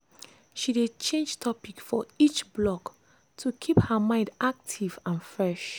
she dey change topic for each block to keep her mind active and fresh.